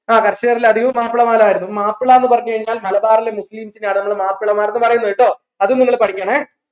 ആഹ് കർഷകരിൽ അധികരും മാപ്പിളമാരായിരുന്നു മാപ്പിള എന്ന് പറഞ്ഞു കഴിഞ്ഞാൽ മലബാറിലെ മുസ്ലിംസിനആണ് നമ്മൾ മാപ്പിളമാർ എന്ന് പറയുന്നത് ട്ടോ അതും നിങ്ങൾ പഠിക്കണേ